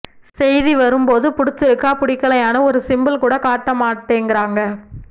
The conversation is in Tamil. செய்திவரும் போது புடிச்சிருக்கா புடிக்கலயானு ஒரு சிம்பல் கூட காட்ட மாட்டேங்கறாங்க